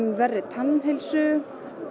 verri tannheilsu